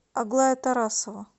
аглая тарасова